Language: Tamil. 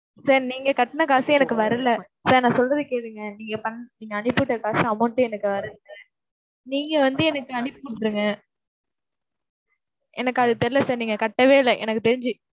sir நீங்கக் கட்டுன காசு எனக்கு வரலை. sir நான் சொல்றதைக் கேளுங்க. நீங்கப் பண்~ நீங்க அனுப்பி விட்ட காசு amount ஏ எனக்கு வரலை. நீங்க வந்து எனக்கு அனுப்பிவிட்டுருங்க. எனக்கு அது தெரியல sir. நீங்கக் கட்டவே இல்லை எனக்குத் தெரிஞ்சு.